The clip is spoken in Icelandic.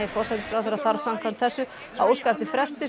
forsætisráðherra þarf samkvæmt þessu að óska eftir fresti